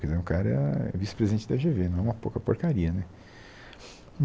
Quer dizer, o cara é vice-presidente da Gê Vê, não é uma pouca porcaria, né?